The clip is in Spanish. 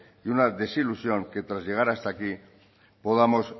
y una desilusión que tras llegar hasta aquí podamos